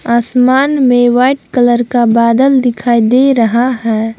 आसमान में white colour का बादल दिखाई दे रहा है।